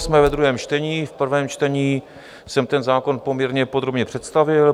Jsme ve druhém čtení, v prvém čtení jsem ten zákon poměrně podrobně představil.